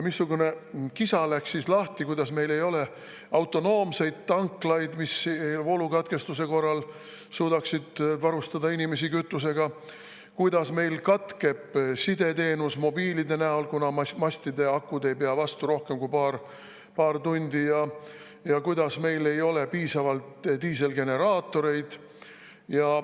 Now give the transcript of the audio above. Missugune kisa läks siis lahti, kuidas meil ei ole autonoomseid tanklaid, mis voolukatkestuse korral suudaksid varustada inimesi kütusega, kuidas meil katkeb sideteenus mobiilide näol, kuna mastide akud ei pea vastu rohkem kui paar tundi, ja kuidas meil ei ole piisavalt diiselgeneraatoreid.